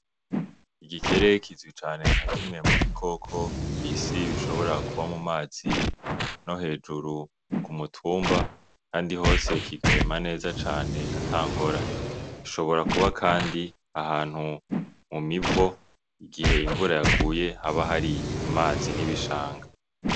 Igikere kizwi cane nka kimwe mu bikoko kw'isi bishobora kuba mu mazi no hejuru ku mutumba, kandi hose kigahema neza cane ata ngorane, gishobora kuba kandi ahantu mu mivo igihe imvura yaguye haba hari amazi n'ibishanga.